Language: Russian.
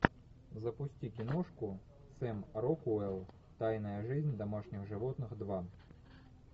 запусти киношку сэм рокуэлл тайная жизнь домашних животных два